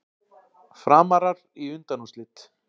Framarar í undanúrslitin